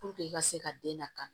i ka se ka den lakana